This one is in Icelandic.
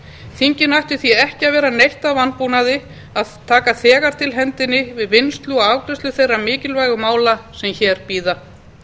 þinginu ætti því ekki að vera neitt að vanbúnaði að taka þegar til hendinni við vinnslu og afgreiðslu þeirra mikilvægu mála sem hér bíða